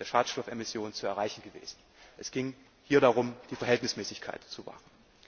der Schadstoffemission zu erreichen gewesen. Es ging hier darum, die Verhältnismäßigkeit zu wahren.